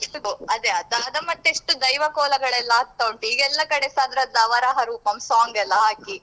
ಅದೆ ಅದಾದ ಮತ್ತೆಷ್ಟು ದೈವ ಕೋಲಾ ಗಳೆಲ್ಲ ಆಗ್ತಾ ಉಂಟು ಈಗ ಎಲ್ಲ ಕಡೆಸ ಅದ್ರದ್ದು ವರಾಹ ರೂಪಂ song ಎಲ್ಲ ಹಾಕಿ.